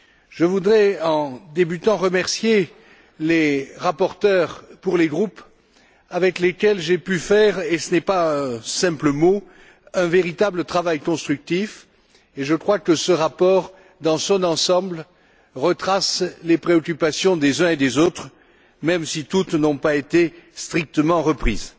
Je voudrais remercier les rapporteurs pour les groupes avec lesquels j'ai pu faire et ce ne sont pas que des mots un véritable travail constructif et je crois que ce rapport, dans son ensemble, retrace les préoccupations des uns et des autres même si toutes n'ont pas été strictement reprises.